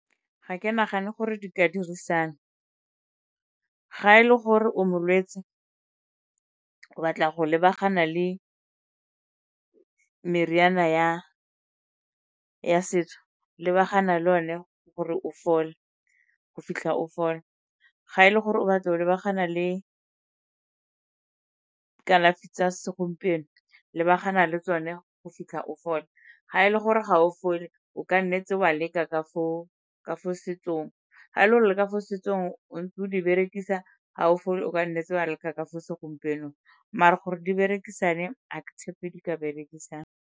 Ga ke nagane gore di ka dirisana. Ga e le gore o molwetsi, o batla go lebagana le meriana ya setso, lebagana le one gore o fole, go fitlha o fole. Ga e le gore o batla go lebagana le ka kalafi tsa segompieno, lebagana le tsone go fitlha o fole. Ga e le gore ga o fole, o ka nnetse wa leka ka fo setsong, ga e le go leka fo setsong o ntse o di berekisa ha o fole o ka nnetse wa leka ka fo segompienong. Mare gore di berekisane, ha ke tshepe di ka berekisana.